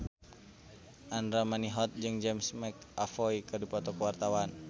Andra Manihot jeung James McAvoy keur dipoto ku wartawan